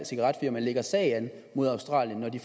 cigaretfirma lægger sag an mod australien når de